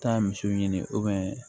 Taa misiw ɲini